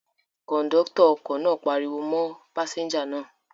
Kọ̀ńdọ́tọ̀ ọkọ náà pariwo mọ́ pásẹ́ńjà náà.